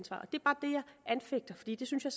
anfægter fordi det synes jeg